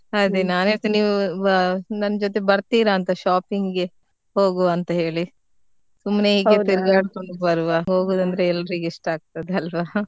ಅದೇ ನಾನ್ ಇವತ್ ನೀವು ನನ್ ಜೊತೆ ಬರ್ತೀರಾ ಅಂತ shopping ಗೆ ಹೋಗುವ ಅಂತ ಹೇಳಿ . ಸುಮ್ನೆ ಹೀಗೆ ತಿರ್ಗಾಡ್ಕೊಂಡ್ ಬರುವ ಹೋಗುದ್ ಅಂದ್ರೆ ಎಲರಿಗೂ ಇಷ್ಟ ಆಗ್ತದೆ ಅಲ್ವಾ .